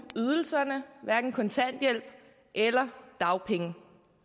ydelserne hverken kontanthjælp eller dagpenge